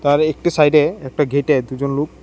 আরেকটি সাইডে একটা গেটে দুজন লোক--